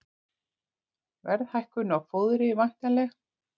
Verðhækkun á fóðri væntanleg